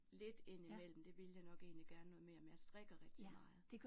Lidt indimellem det ville jeg nok egentlig gerne noget mere men jeg strikker rigtig meget